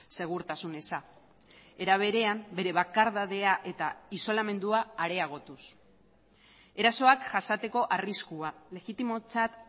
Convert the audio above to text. segurtasun eza era berean bere bakardadea eta isolamendua areagotuz erasoak jasateko arriskua legitimotzat